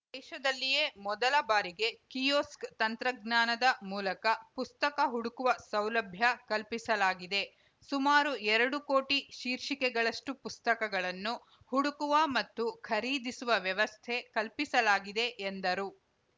ದೇಶದಲ್ಲಿಯೇ ಮೊದಲ ಬಾರಿಗೆ ಕಿಯೋಸ್ಕ್‌ ತಂತ್ರಜ್ಞಾನದ ಮೂಲಕ ಪುಸ್ತಕ ಹುಡುಕುವ ಸೌಲಭ್ಯ ಕಲ್ಪಿಸಲಾಗಿದೆ ಸುಮಾರು ಎರಡು ಕೋಟಿ ಶೀರ್ಷಿಕೆಗಳಷ್ಟುಪುಸ್ತಕಗಳನ್ನು ಹುಡುಕುವ ಮತ್ತು ಖರೀದಿಸುವ ವ್ಯವಸ್ಥೆ ಕಲ್ಪಿಸಲಾಗಿದೆ ಎಂದರು